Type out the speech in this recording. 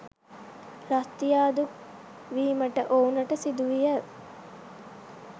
රස්‌තියාදු වීමට ඔවුනට සිදුවිය.